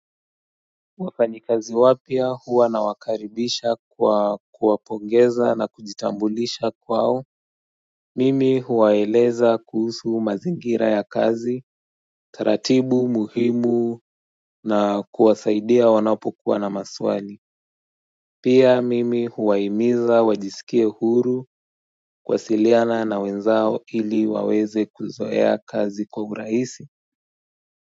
Wafanyikazi wapya huwa nawakaribisha kwa kuwapongeza na kujitambulisha kwao Mimi huwaeleza kuhusu mazingira ya kazi, taratibu muhimu na kuwasaidia wanapokuwa na maswali Pia mimi huwahimiza wajisikie huru kuwasiliana na wenzao ili waweze kuzoea kazi kwa urahisi.